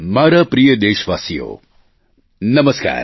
મારા પ્રિય દેશવાસીઓ નમસ્કાર